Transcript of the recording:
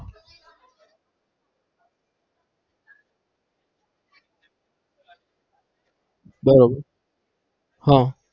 બરાબર હમ